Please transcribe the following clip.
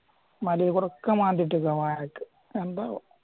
മലയിലൊക്കെ മാന്തി ഇട്ടേക്കുവാ വായ്ക്ക് എന്താവോ